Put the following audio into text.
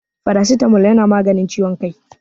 faracitamol yana maganin ciwon kai